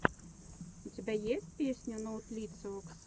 у тебя есть песня ноутлициокс